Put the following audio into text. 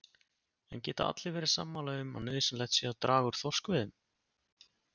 En geta allir verið sammála um að nauðsynlegt sé að draga úr þorskveiðunum?